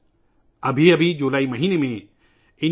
Indian virtual herbarium جولائی کے مہینے میں ہی لانچ کیا گیا تھا